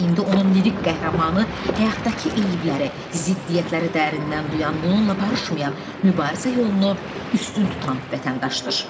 İndi onun lirik qəhrəmanı həyatdakı eyibləri, ziddiyyətləri dərindən duyan, bununla barışmayan, mübarizə yolunu üstün tutan vətəndaşdır.